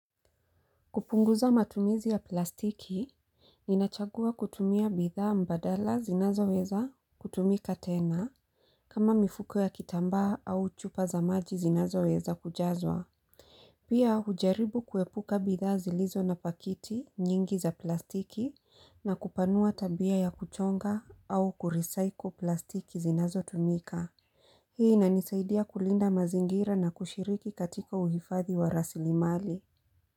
Kupunguza matumizi ya plastiki. Ninachagua kutumia bidhaa mbadala zinazoweza kutumika tena. Kama mifuko ya kitambaa au chupa za maji zinazoweza kujazwa. Pia hujaribu kuepuka bidhaa zilizo na pakiti nyingi za plastiki na kupanua tabia ya kuchonga au kurisaiko plastiki zinazotumika. Hii inanisaidia kulinda mazingira na kushiriki katika uhifathi wa rasili mali.